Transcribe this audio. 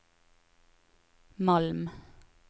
Malm